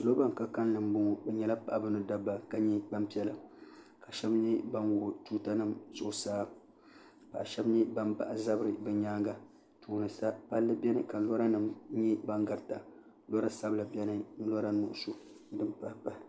niraba nan ka kanli n boŋo bi nyɛla paɣaba ni dabba ka nyɛ gbanpiɛla ka shab nyɛ ban wuɣi tuuta nim zuɣusaa ka shab nyɛ ban bahi zabiri bi nyaanga tooni sa palli biɛni ka lora nim nyɛ din garita lora sabila biɛni ni lora nuɣso ni din pahi pahi